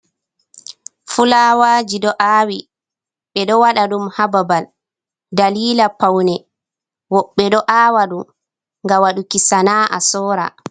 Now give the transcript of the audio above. Fulawaji ɗo aawi. Be ɗo waɗa ɗum ha babal ɗalila paune. Wobbe ɗo aawa ɗum gam waduki sana a sora.